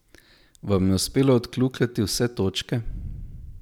Vam je uspelo odkljukati vse točke?